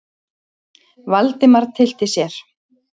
Valdimar tyllti sér.